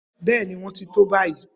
Bẹẹni, wọn ti to fun bayi